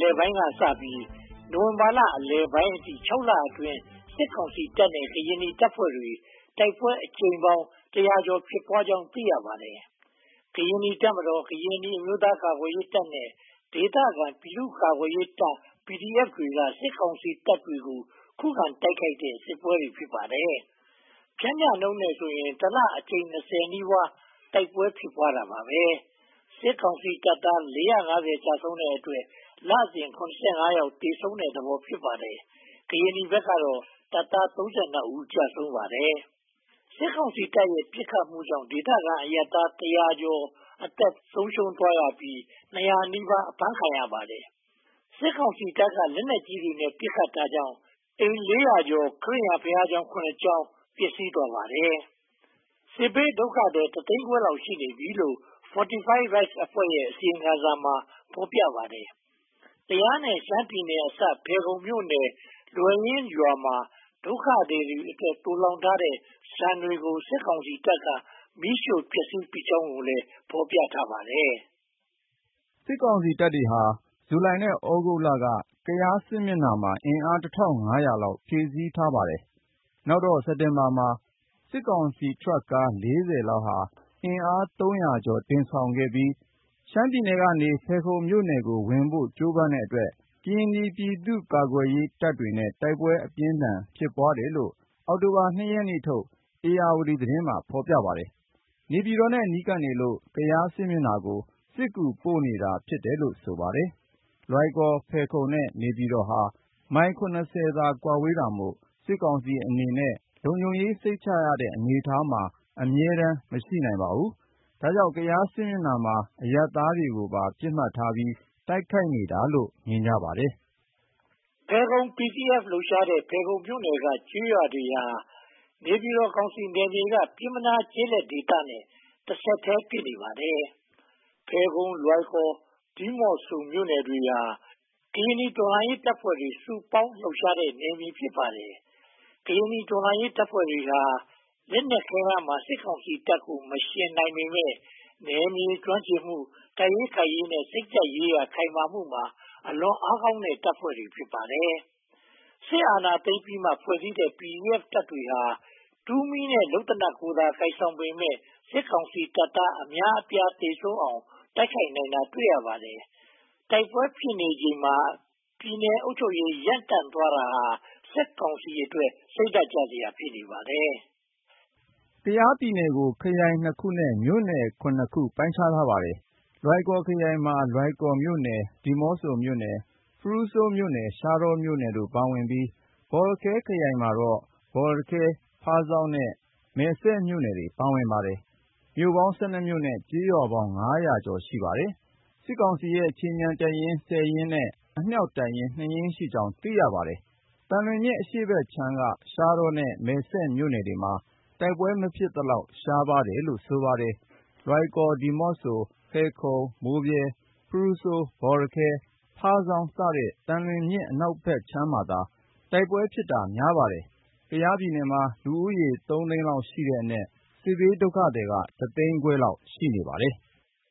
လယ်ပိုင်းကစပြီး နိုဝင်ဘာလအလယ်ပိုင်းအထိ (၆) လအတွင်းမှာ စစ်ကောင်စီတပ်နဲ့ ကရင်နီတပ်ဖွဲ့တွေ တိုက်ပွဲအကြိမ်ပေါင်း တရာကျော် (၁၁၇) ဖြစ်ပွားခဲ့ကြောင်း သိရပါတယ်။ ကရင်နီတပ်မတော်၊ ကရင်နီအမျိုးသားကာကွယ်ရေးတပ်နဲ့ ဒေသခံပြည်သူ့ကာကွယ်ရေးတပ် (PDF) တွေက စစ်ကောင်စီတပ်တွေကို ခုခံတိုက်ခိုက်တဲ့ စစ်ပွဲတွေ ဖြစ်ပါတယ်။ ပျမ်းမျှနှုန်းနဲ့ဆိုရင် တလအတွင်း အကြိမ် (၂၀) နီးပါး တိုက်ပွားဖြစ်ပွားနေခဲ့ပါတယ်။ စစ်ကောင်စီတပ်သား (၄၅၀) ကျဆုံးတဲ့အတွက် လစဉ် (၇၅) ယောက် သေဆုံးနေတဲ့သဘော ဖြစ်ပါတယ်။ ကရင်နီဘက်ကတော့ တပ်သား (၃၂) ဦး ကျဆုံးခဲ့ပါတယ်။ စစ်ကောင်စီတပ်တွေရဲ့ တိုက်ခိုက်ပစ်ခတ်မှုကြောင့် ဒေသခံအရပ်သား တရာကျော် (၁၀၂) အသက်ဆုံးရှုံးသွားရပြီး၊ နှစ်ရာနီးပါး (၁၇၄) အဖမ်းခံရပါတယ်။ စစ်ကောင်စီတပ်က လက်နက်ကြီးတွေနဲ့ ပစ်ခတ်တာကြောင့် နေအိမ်လေးရာကျော် (၄၂၁) နဲ့၊ ခရစ်ယာန်ဘုရာကျောင်း (၇) ကျောင်း ပျက်စီးသွားပါတယ်။ စစ်ဘေးဒုက္ခသည် တသိန်းခွဲလောက် ရှိနေပြီလို့ Fortify Rights အဖွဲ့ရဲ့ အစီရင်ခံစာမှာ ဖော်ပြထားပါတယ်။ ကယားနဲ့ ရှမ်းပြည်နယ်အစပ် ဖယ်ခုံမြို့နယ်၊ လွယ်ရင်းရွာမှာ ဒုက္ခသည်စခန်းတွေအတွက် သိုလှောင်ထားတဲ့ ဆန်တွေကို စစ်ကောင်စီတပ်တွေက မီးရှို့ဖျက်ဆီးပစ်ကြောင်းကိုလည်း ဖော်ပြထားပါတယ်။ စစ်ကောင်စီတပ်တွေက ဇူလိုင်နဲ့သြဂုတ်လအတွင်း ကရင်နီ (ကယား) စစ်မျက်နှာမှာ အင်အား (၁၅၀၀) လောက် ဖြည့်ဆည်းထားပါတယ်။ နောက်တော့ စက်တင်ဘာလမှာ စစ်ကောင်စီထရပ်ကား (၄၀) လောက်ဟာ အင်အား (၃၀၀) ကျော် တင်ဆောင်ပြီး၊ ရှမ်းပြည်နယ်ကနေ ဖယ်ခုံမြို့နယ်ကိုဝင်ဖို့ ကြိုးပမ်းတဲ့အတွက် ကရင်နီပြည်သူ့ကာကွယ်ရေးတပ်တွေနဲ့ တိုက်ပွဲအပြင်းအထန် ဖြစ်ပွားတယ်လို့ အောက်တိုဘာလ (၂) ရက်နေ့ထုတ် ဧရာဝတီသတင်းမှာ ဖော်ပြပါတယ်။ နေပြည်တော်နဲ့ နီးကပ်နေလို့ ကရင်နီ (ကယား) စစ်မျက်နှာကို စစ်ကူပို့နေတာ ဖြစ်တယ်လို့ ဆိုပါတယ်။ လွိုင်ကော်၊ ဖယ်ခုံနဲ့ နေပြည်တော်ဟာ မိုင် (၇၀) သာ ကွာဝေးတာမို့ စစ်ကောင်စီအနေနဲ့ လုံခြုံရေး စိတ်ချရတဲ့ အနေအထားမှာ အမြဲတမ်း မရှိနိုင်ပါဘူး။ ဒါကြောင့် ကရင်နီ (ကယား) စစ်မျက်နှာမှာ အရပ်သားတွေကိုပါ ပစ်မှတ်ထားပြီး တိုက်ခိုက်နေတယ်လို့ မြင်ကြပါတယ်။ ဖယ်ခုံ PDF လှုပ်ရှားနေတဲ့ ဖယ်ခုံမြို့နယ်က ကျေးရွာတွေဟာ နေပြည်တော်ကောင်စီနယ်မြေက ပျဉ်းမနားကျေးလက်ဒေသနဲ့ တဆက်တည်း ဖြစ်နေပါတယ်။ ဖယ်ခုံ၊ လွိုင်ကော်၊ ဒီးမော့ဆိုမြို့နယ်တွေဟာ ကရင်နီတော်လှန်ရေးတပ်ဖွဲ့တွေ စုပေါင်းလှုပ်ရှားနေတဲ့ နယ်မြေတွေ ဖြစ်ပါတယ်။ ကရင်နီတော်လှန်ရေး တပ်ဖွဲ့တွေဟာ လက်နက်ခဲယမ်းမှာ စစ်ကောင်စီတပ်ကို မယှဉ်နိုင်ပေမယ့် နယ်မြေကျွမ်းကျင်မှု၊ တိုက်ခိုက်ရေးနဲ့ စိတ်ဓါတ်ကြံ့ခိုင်မှုမှာ အလွန်အားကောင်းတဲ့ တပ်ဖွဲ့တွေ ဖြစ်ပါတယ်။ စစ်အာဏာသိမ်းပြီးမှ ဖွဲ့စည်းကြတဲ့ PDF တပ်ဖွဲ့တွေဟာ တူမီးနဲ့ လုပ်သေနတ်တွေကိုသာ ကိုင်ဆောင်ကြပေမယ့် စစ်ကောင်စီတပ်သား အများအပြား သေဆုံးအောင် တိုက်ခိုက်နိုင်တာတွေ တွေ့ရပါတယ်။ တိုက်ပွဲဖြစ်ပွားနေချိန်မှာ ပြည်နယ်အုပ်ချုပ်ရေး ရပ်တန့်သွားတာဟာ စစ်ကောင်စီအတွက် စိတ်ဓါတ်ကျစရာ ဖြစ်နေပါတယ်။ ကရင်နီ (ကယား) ပြည်နယ်ကို ခရိုင် (၂) ခုနဲ့ မြို့နယ် (၇) ခု ပိုင်းခြားထားပါတယ်။ လွိုင်ကော်ခရိုင်မှာ လွိုင်ကော်မြို့နယ်၊ ဒီးမော့ဆိုမြို့နယ်၊ ဖရူးဆိုးမြို့နယ်၊ ရှားတောမြို့နယ်တို့ ပါဝင်ပြီး၊ ဘောလခဲခရိုင်မှာတော့ ဘော်လခဲ၊ ဖားဆောင်းနဲ့ မယ်စဲ့မြို့နယ်တွေ ပါဝင်ပါတယ်။ မြို့နယ်ပေါင်း (၁၂) မြို့နဲ့ ကျေးရွာငါးရာကျော် (၅၁၀) ရှိပါတယ်။ စစ်ကောင်စီရဲ့ ခြေမြန်တပ်ရင်း (၁၀) ရင်းနဲ့ အမြောက်တပ်ရင်း (၂) ရင်းရှိကြောင်း သိရပါတယ်။ သံလွင်မြစ်အရှေ့ဘက်ခြမ်းက ရှားတောနဲ့ မယ်စဲ့မြို့နယ်တွေမှာ တိုက်ပွဲမဖြစ်သလောက် ရှားပါးတယ်လို့ ဆိုပါတယ်။ လွိုင်ကော်၊ ဒီးမော့ဆို၊ ဖယ်ခုံ၊ မိုးဗြဲ၊ ဖရူးဆိုး၊ ဘောလခဲ၊ ဖားဆောင်းစတဲ့ သံလွင်မြစ်အနောက်ဘက်မှာသာ တိုက်ပွဲဖြစ်တာ များပါတယ်။ ကရင်နီ (ကယား) ပြည်နယ်မှာ လူဦးရေ သုံးသိန်းလောက်ရှိတဲ့အနက် စစ်ဘေးဒုက္ခသည်က တသိန်းခွဲလောက် ရှိနေပါတယ်